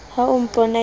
ha o mpona ke le